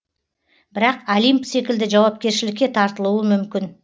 бірақ олимп секілді жауапкершілікке тартылуы мүмкін